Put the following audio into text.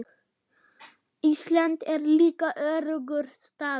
Ísland er líka öruggur staður.